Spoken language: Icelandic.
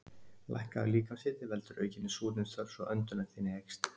Lækkaður líkamshiti veldur aukinni súrefnisþörf svo öndunartíðni eykst.